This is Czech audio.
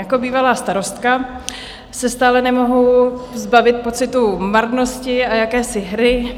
Jako bývalá starostka se stále nemohu zbavit pocitu marnosti a jakési hry.